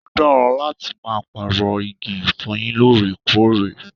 Ó dára láti máa pààrọ̀ igi ìfọyín lóòrèkóòrè